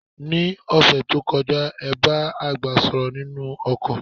Ní òṣẹ̀ tó kọjá, ẹ bá àgbẹ̀ sọ̀rọ̀ nínú oko.